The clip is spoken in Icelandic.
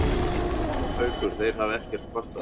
Haukur: Þeir hafa ekkert kvartað?